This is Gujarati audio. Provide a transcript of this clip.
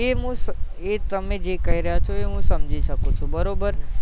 એ તમે જે કઈ રહ્યા છો એ હું સમજી શકું છું બરોબર